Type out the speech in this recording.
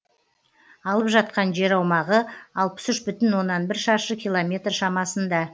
алып жатқан жер аумағы алпыс үш бүтін оннан бір шаршы километр шамасында